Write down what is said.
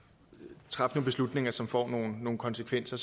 træffe nogle beslutninger som får nogle nogle konsekvenser